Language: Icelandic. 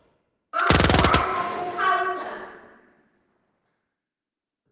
Ekki æpa þig hása!